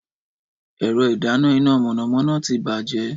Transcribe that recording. Ẹ̀rọ ìdáná iná mọ̀nàmọ́ná ti bàjẹ́